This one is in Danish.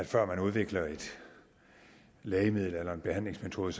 før man udvikler et lægemiddel eller en behandlingsmetode